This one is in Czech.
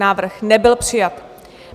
Návrh nebyl přijat.